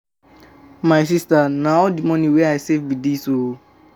I um for um carry you go out but um I dey I dey save now.